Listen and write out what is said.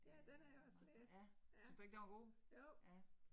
Øh Marstrand, syntes du ikke den var god? Ja